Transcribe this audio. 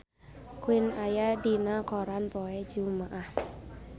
Queen aya dina koran poe Jumaah